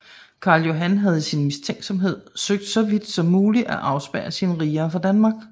Carl Johan havde i sin mistænksomhed søgt så vidt muligt at afspærre sine riger fra Danmark